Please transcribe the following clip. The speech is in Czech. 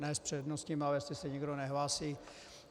Ne s přednostním, ale jestli se nikdo nehlásí.